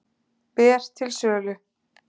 Ber til sölu